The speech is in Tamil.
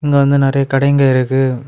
இங்க வந்து நெறைய கடைங்க இருக்கு.